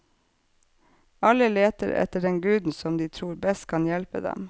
Alle leter etter den guden som de tror best kan hjelpe dem.